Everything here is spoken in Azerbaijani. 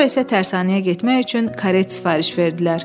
Sonra isə tərsanəyə getmək üçün karet sifariş verdilər.